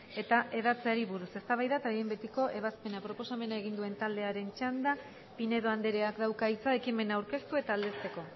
eta hedatzeari buruz eztabaida eta behin betiko ebazpena proposamena egin duen taldearen txanda pinedo andreak dauka hitza ekimena aurkeztu eta aldezteko